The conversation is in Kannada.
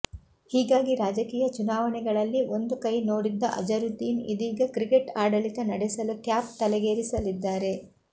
ಹೀಗಾಗಿ ರಾಜಕೀಯ ಚುನಾವಣೆಗಳಲ್ಲಿ ಒಂದು ಕೈ ನೋಡಿದ್ದ ಅಜರುದ್ದೀನ್ ಇದೀಗ ಕ್ರಿಕೆಟ್ ಆಡಳಿತ ನಡೆಸಲು ಕ್ಯಾಪ್ ತಲೆಗೇರಿಸಲಿದ್ದಾರೆ